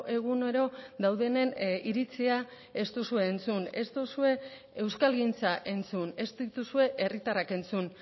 egunero daudenen iritzia ez duzue entzun ez duzue euskalgintza entzun ez dituzue herritarrak entzun